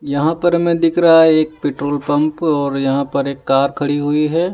यहां पर हमें दिख रहा है एक पेट्रोल पंप और यहां पर एक कार खड़ी हुई है।